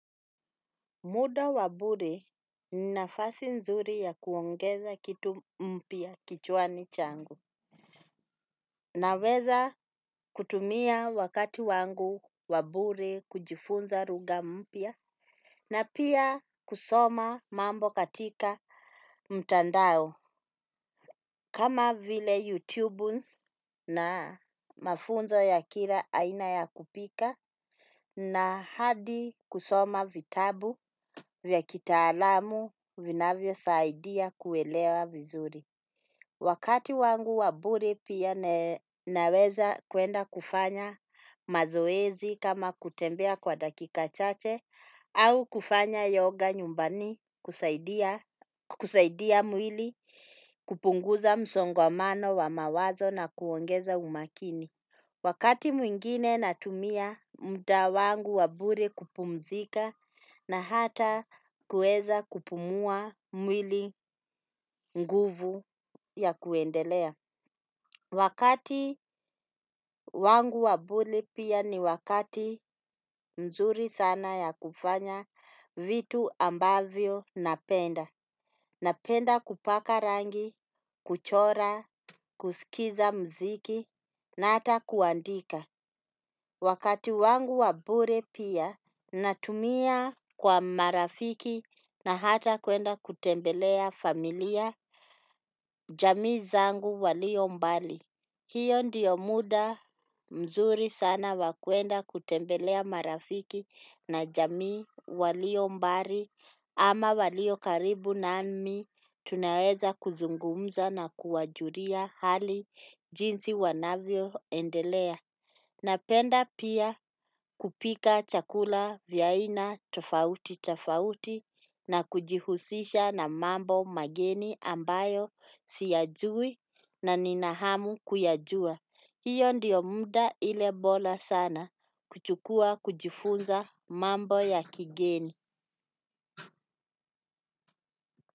Muda wabure ni nafasi nzuri ya kuongeza kitu mpya kichwani changu. Naweza kutumia wakati wangu wabure kujifunza lugha mpya. Na pia kusoma mambo katika mtandao. Kama vile YouTube na mafunzo ya kila aina ya kupika. Na hadi kusoma vitabu vya kitaalamu vinavyo saidia kuelewa vizuri. Wakati wangu wabure pia naweza kuenda kufanya mazoezi kama kutembea kwa dakika chache au kufanya yoga nyumbani kusaidia mwili kupunguza msongamano wa mawazo na kuongeza umakini. Wakati mwingine natumia mda wangu wabure kupumzika na hata kueza kupumua mwili nguvu ya kuendelea. Wakati wangu wabure pia ni wakati mzuri sana ya kufanya vitu ambavyo napenda. Napenda kupaka rangi, kuchora, kuskiza mziki na hata kuandika. Wakati wangu wabure pia natumia kwa marafiki na hata kuenda kutembelea familia jamii zangu walio mbali. Hiyo ndiyo muda mzuri sana wakuenda kutembelea marafiki na jamii walio mbali ama walio karibu nami tunaweza kuzungumza na kuwajulia hali jinsi wanavyo endelea. Napenda pia kupika chakula vya aina tofauti tofauti na kujihusisha na mambo mageni ambayo sijajui na nina hamu kuyajua. Hiyo ndiyo mda ile bora sana kuchukua kujifunza mambo ya kigeni.